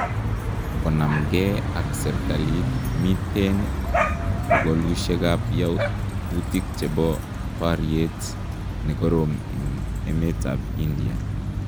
Konamkee ak serikaliit miten pokolusyeekab yautik chebo baryeet nekoroom en emeetab India